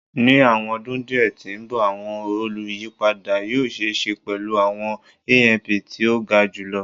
Ni awọn ọdun diẹ ti n bọ awọn oluyipada yoo ṣee ṣe pẹlu awọn AMP ti o ga julọ